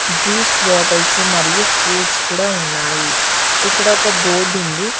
Juice bottles మరియు fruits కూడా ఉన్నాయి ఇక్కడ ఒక బోర్డు ఉంది.